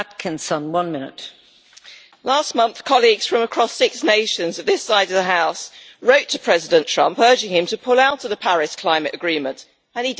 Madam President, last month colleagues from across six nations this side of the House wrote to President Trump, urging him to pull out of the Paris climate agreement and he did.